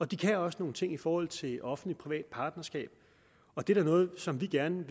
de kan også nogle ting i forhold til offentligtprivat partnerskab og det er da noget som vi gerne vil